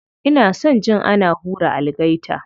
Ina son jin ana hura algaita.